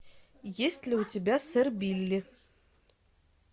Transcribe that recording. есть ли у тебя сэр билли